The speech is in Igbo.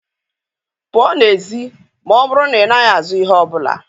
pụọ n'èzí ma ọ bụrụ na ị naghị azụ ihe ọ bụla.